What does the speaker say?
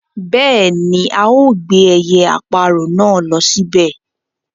Bẹ́ẹ̀ni ao gbé ẹyẹ-aparọ̀ náà ló síbẹ̀